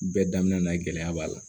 Bɛɛ daminɛ na gɛlɛya b'a la